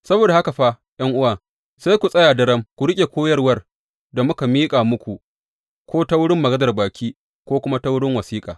Saboda haka fa, ’yan’uwa, sai ku tsaya daram ku riƙe koyarwar da muka miƙa muku, ko ta wurin maganar baki ko kuma ta wurin wasiƙa.